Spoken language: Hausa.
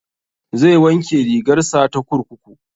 Zai wanke rigar sa ta kurkuku